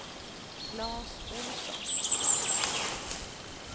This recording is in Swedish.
Klas Olsson